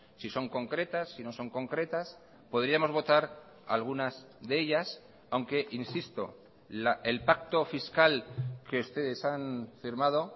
si son concretas si no son concretas podríamos votar algunas de ellas aunque insisto el pacto fiscal que ustedes han firmado